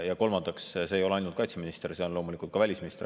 Ja kolmandaks, see ei ole ainult kaitseminister, seal on loomulikult ka välisminister.